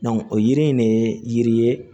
o yiri in ne yiri ye